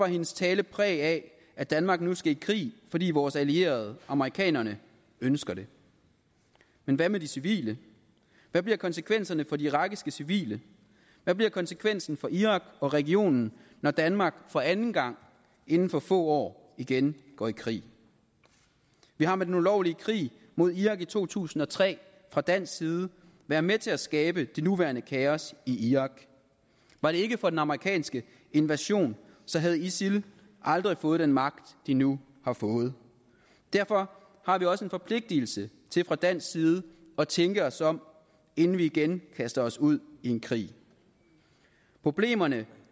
at hendes tale bar præg af at danmark nu skal i krig fordi vores allierede amerikanerne ønsker det men hvad med de civile hvad bliver konsekvenserne for de irakiske civile hvad bliver konsekvensen for irak og regionen når danmark for anden gang inden for få år igen går i krig vi har med den ulovlige krig mod irak i to tusind og tre fra dansk side været med til at skabe det nuværende kaos i irak var det ikke for den amerikanske invasion havde isil aldrig fået den magt de nu har fået derfor har vi også en forpligtigelse til fra dansk side at tænke os om inden vi igen kaster os ud i en krig problemerne